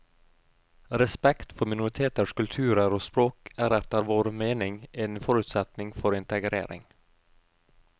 Respekt for minoriteters kulturer og språk er etter vår mening en forutsetning for integrering.